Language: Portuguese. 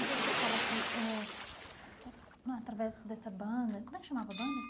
E você fala que ãh, através dessa banda, como é que chamava a banda?